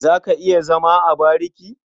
Za ka iya zama a bariki?